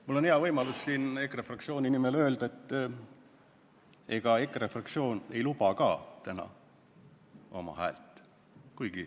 Mul on hea võimalus siin EKRE fraktsiooni nimel öelda, et EKRE fraktsioon ei luba ka täna oma häält.